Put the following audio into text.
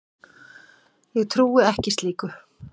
Ég trúi ekki slíku.